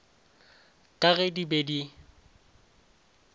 ka ge di be di